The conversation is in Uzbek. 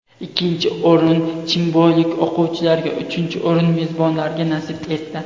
Ikkinchi o‘rin chimboylik o‘quvchilarga, uchinchi o‘rin mezbonlarga nasib etdi.